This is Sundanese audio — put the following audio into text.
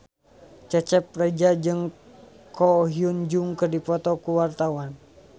Cecep Reza jeung Ko Hyun Jung keur dipoto ku wartawan